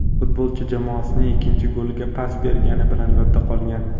Futbolchi jamoasining ikkinchi goliga pas bergani bilan yodda qolgan.